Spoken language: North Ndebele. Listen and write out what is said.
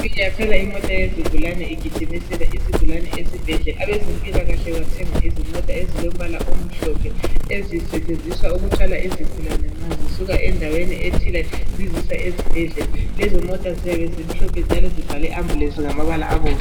Iyakhala imota yezigulane igijimisela isigulane esibhedlela. Abezempilakahle bathenga izimota ezilombala omhlophe. Ezisetshenziswa ukuthwala izigulane mazisuka endaweni ethile zizisa esibhedlela. Lezo mota ziyabe zimhlophe njalo ibhalwe ambulance ngamabala abomvu